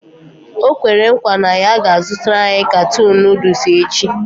O kwere nkwa na ya ga-azụtara anyị katuun Nụ́dúls echi